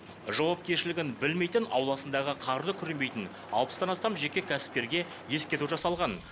жауапкершілігін білмейтін ауласындағы қарды күремейтін алпыстан астам жеке кәсіпкерге ескерту жасалған